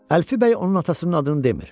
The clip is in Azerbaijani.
Əlfi bəy onun atasının adını demir.